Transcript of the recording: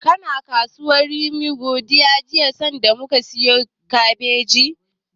Kana kasuwar Rimin Gadon jiya sanda muka siyo kabeji?